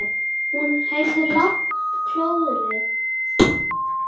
Hún heyrði lágt klórið þegar fjöðrin snerti bókfellið.